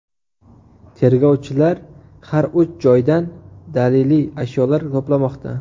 Tergovchilar har uch joydan daliliy ashyolar to‘plamoqda.